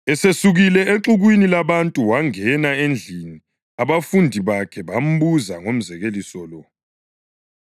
Esesukile exukwini labantu wangena endlini abafundi bakhe bambuza ngomzekeliso lo.